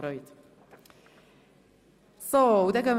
Sie würde sich sehr freuen.